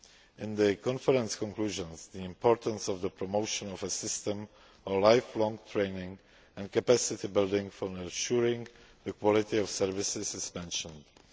In the conference conclusions, the importance of the promotion of a system of lifelong training and capacity building for assuring the quality of services is mentioned.